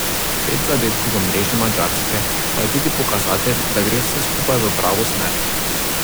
Pet zadetkov v mreži madžarske pa je tudi pokazatelj, da gre vse skupaj v pravo smer.